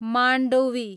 Mandovi